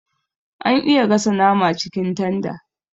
Ana iya gasa nama cikin tanda